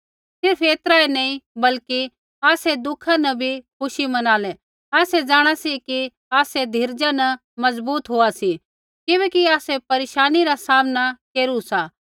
सिर्फ़ ऐतरा ऐ नी बल्कि आसै दुःखा न बी खुशी मनालै आसै जाँणा सी कि आसै धीरजा न मजबूत होआ सी किबैकि आसै परेशानी रा सामना केरु सा